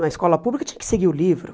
Na escola pública tinha que seguir o livro.